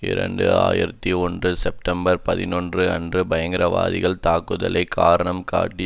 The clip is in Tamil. இரண்டு ஆயிரத்தி ஒன்று செட்பம்பர் பதினொன்று அன்று பயங்கரவாதிகள் தாக்குதலை காரணம் காட்டி